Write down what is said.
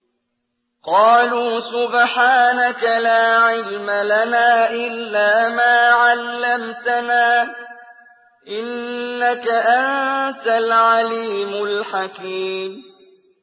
قَالُوا سُبْحَانَكَ لَا عِلْمَ لَنَا إِلَّا مَا عَلَّمْتَنَا ۖ إِنَّكَ أَنتَ الْعَلِيمُ الْحَكِيمُ